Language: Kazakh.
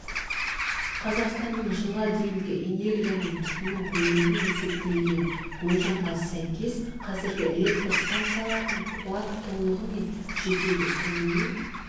қазақстанның жылға дейінгі энергияны тұтыну көлемі есептелген болжамға сәйкес қазіргі электр стансаларының қуаты толығымен жетеді сонымен